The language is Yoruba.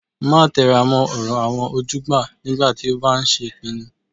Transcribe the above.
Máa tẹra mọ́ ọ̀rọ̀ àwọn ojúgbà nígbà tó o bá ń ṣèpinnu